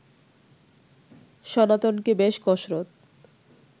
সনাতনকে বেশ কসরত